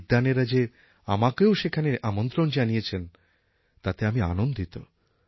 এই বিদ্বানেরা যে আমাকেও সেখানে আমন্ত্রণ জানিয়েছেন তাতে আমি আনন্দিত